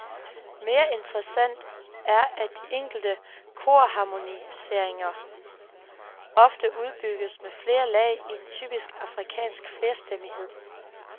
Mere interessant er at de enkle korharmoniseringer ofte udbygges med flere lag i en typisk afrikansk flerstemmighed.